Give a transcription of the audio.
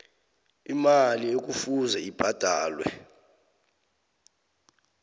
imali ekufuze ibhadalwe